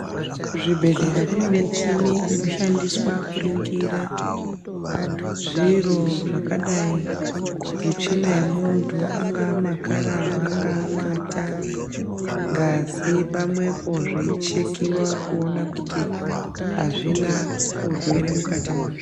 Kuzvibhedhlera kunemichini inoshandiswa kuringira zviro zvakadayi ngetsvina yemuntu, angamakararwa, angamata, ngazi pamwe po zviyichekiwa kuwona kuti hazvina wurwere mukati mazvo.